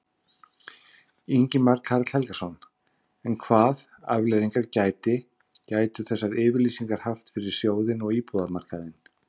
Ingimar Karl Helgason: En hvað afleiðingar gæti, gætu þessar yfirlýsingar haft fyrir sjóðinn og íbúðamarkaðinn?